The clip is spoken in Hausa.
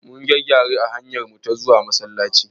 Mun ga gyare a hanyarmu ta zuwa Masallaci.